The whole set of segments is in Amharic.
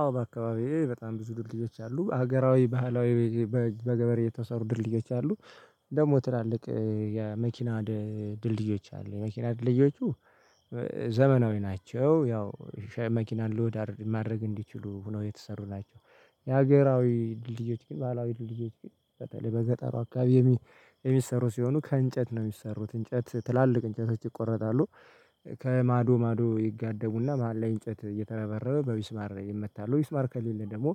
አዎ በአካባቢዬ በጣም ብዙ ድልድዮች አሉ፤ ሀገራዊ ባህላዊ በገበሬ የተሰሩ ድልድዮች አሉ ደግሞ ትላልቅ የመኪና ድልድዮች አሉ የመኪና ድልድዮቹ ዘመናዊ ናቸው ያው ሻይ መኪና ሎድ ማድረግ እንዲችሉ ሁነው የተሰሩ ናቸው የሀገራዊ ድልድዮች ግን ባላዊ ድልድዮች ግን በተለይ በገጠሩ አካባቢ የሚሰሩ ሲሆኑ ከእንጨት ነው የሚሰሩት እንጨት ትላልቅ እንጨት ይቆረጣሉ ከማዶ ማዶ ይጋደሙና መሃል ላይ እንጨት እየተረበረበ በቢስማር ይመታሉ ሚስማር ከሌለ ደግሞ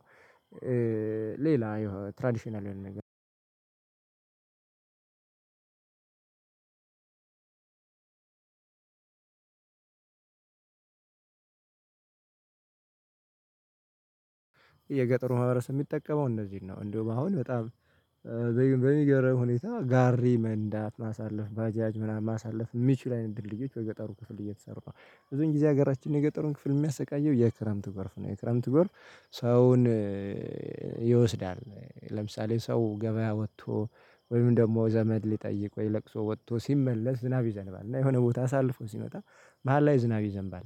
ሌላ የሆነ ትራዲሽናል የሆነ አንድ የገጠሩ ማህበረሰብ የሚጠቀመው እነዚህን ነው እንደው አሁን በጣም በሚገርም ሁኔታ ጋሪ መንዳት ማሳለፍ ባጃጅ ምናምን ማሳለፍ የሚችል አይነት ድልድዮች በገጠሩ ክፍል እየተሰሩ ነው፤ ብዙን ጊዜ ሀገራችን የገጠሩን ክፍል የሚያሰቃየው የክረምት ጎርፍ ነው የክረምት ጎርፍ ሰውን ይወስዳል ለምሳሌ ሰው ገበያ ወጥቶ ወይም ደግሞ ዘመድ ሊጠይቅ ወይ ለቅሶ ወጥቶ ሲመለስ ዝናብ ይዘንባል እና የሆነ ቦታ አሳልፎ ሲመጣ መሃል ላይ ዝናብ ይዘንባል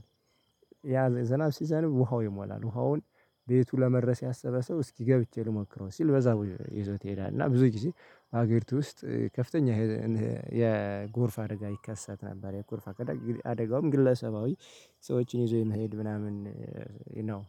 ያ ዝናብ ሲዘንብ ውሃው ይሞላል ውሃውን ቤቱ ለመድረስ ያሰበ ሰው እስኪ ገብቼ ልሞክረው ሲል በዛ ይዞት ይሄዳል እና ብዙ ጊዜ ሀገሪቱ ውስጥ ከፍተኛ የጎርፍ አደጋ ይከሰት ነበር የጎርፍ አደጋውም ግለሰባዊ ሰዎችን ይዞ የመሄድ ምናምን ነው።